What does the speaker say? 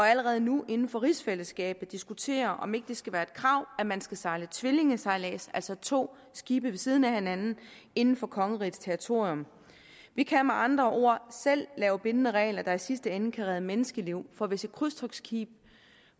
allerede nu inden for rigsfællesskabet diskuterede om ikke det skal være et krav at man skal sejle tvillingesejlads altså to skibe ved siden af hinanden inden for kongerigets territorium vi kan med andre ord selv lave bindende regler der i sidste ende kan redde menneskeliv for hvis et krydstogtskib